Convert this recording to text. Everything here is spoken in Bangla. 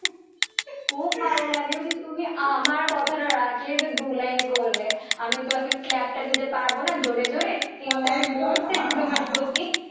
খুব ভালো লাগলো যে তুমি আমার কথাটা রাখলে যে দু line করলে, আমি তো এখন clap টা দিতে পারব না জোরে জোরে clap টা আমি মন থেকে তোমার প্রতি,